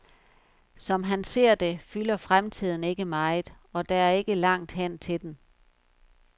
Som han ser det, fylder fremtiden ikke meget, og der er ikke langt hen til den.